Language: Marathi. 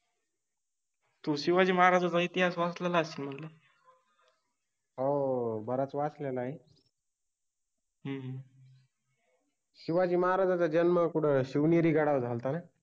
तु शिवाजि महाराजांचा इतिहास वाचलेला असशिल न, हो बराच वाचलेला आहे, हम्म शिवाजि महाराजांचा जन्म कुठ शिवनेरि गडावर झालता न.